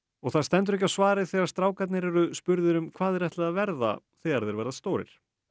og það stendur ekki á svari þegar strákarnir eru spurðir um hvað þeir ætli að verða þegar þeir verða stórir